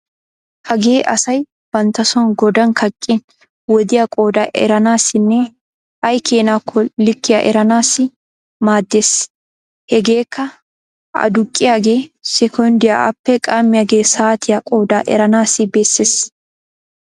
Hagee asay banttason godan kaqqin wodiya qoodaa eranaassinne ay keenakonne likkiya eranaassi maaddeees. Hegeekka aduqqiyagee sekonddiya appe qaammiyaagee saatiya qoodaa eranaassi bessees.